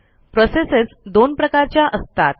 processes दोन प्रकारच्या असतात